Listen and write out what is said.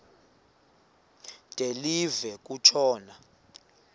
de live kutshona